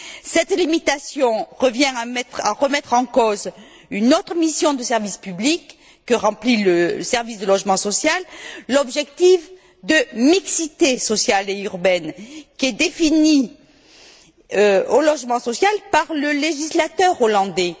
Cette limitation revient à remettre en cause une autre mission du service public que remplit le service du logement social, l'objectif de mixité sociale et urbaine qui est défini au logement social par le législateur hollandais.